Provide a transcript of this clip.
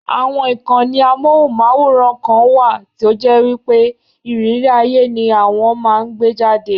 Àwọn ìkàànì amóhùnmáwòrán kan wà tó jẹ́ wípé ìrírí ayé ni àwọn máa ń gbé jáde.